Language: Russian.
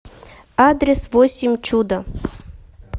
адрес восемь чудо